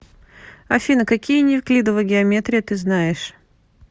афина какие неевклидова геометрия ты знаешь